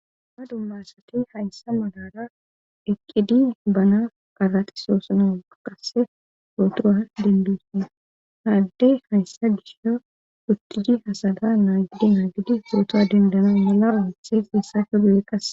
ma dummasati hayssa malara eqqidi bana qaraxisoosana qasse sootoa dendosin haaddey hayssa gisha wuttidi hasada naa gidi naagidi suroto dendana mala olithef issa fe gu7e qas